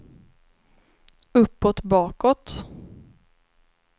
uppåt bakåt